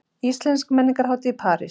Íslensk menningarhátíð í París